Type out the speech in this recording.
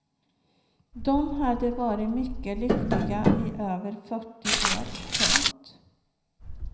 De hade varit mycket lyckliga i över fyrtio år. punkt